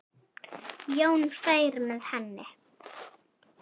Jón færi með henni.